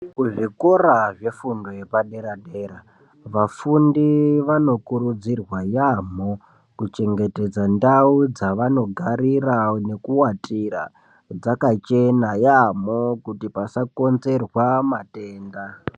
Kuzvikora zve fundo yepa dera dera vafundi vano kurudzirwa yamho kuchengetedza ndau dzavano garira neku watira dzakachena yamho kuti pasa konzerwa matenda.